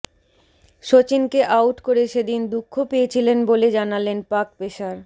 সচিনকে out করে সেদিন দুঃখ পেয়েছিলেন বলে জানালেন পাক পেসার